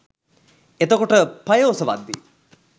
එතකොට පය ඔසවද්දි